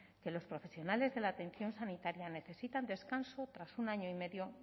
que los profesionales de la atención sanitaria necesitan descanso tras un año y medio